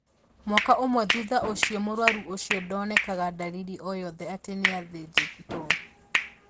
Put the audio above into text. Mwaka ũmwe thutha ũcio mũrwaru ũcio ndonekaga dalili oyothe atĩ nĩathĩnjĩtwo